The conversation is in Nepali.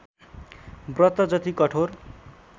व्रत जति कठोर